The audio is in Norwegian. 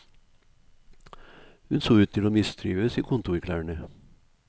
Hun så ut til å mistrives i kontorklærne.